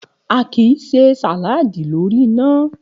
A kì í se sàláàdì lórí iná